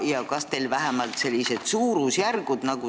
Ja kas teile on teada vähemalt suurusjärgud?